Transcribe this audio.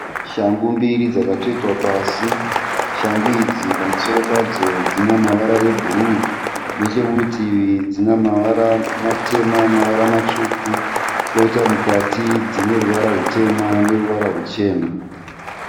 Shangu mbiri dzakatsvetwa pasi. Shangu idzi pamusoro padzo dzina mavara e bhuruu. Nechekurutivi dzina mavara matema, mavara matsvuku. Koita mukati dzine ruvara rutema neruvara ruchena.